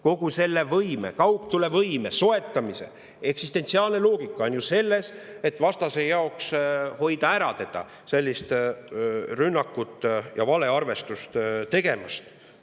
Kogu selle kaugtulevõime soetamise eksistentsiaalne loogika on selles, et hoida vastast rünnakut ja valearvestust tegemast.